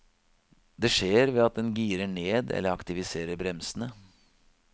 Det skjer ved at den girer ned eller aktiviserer bremsene.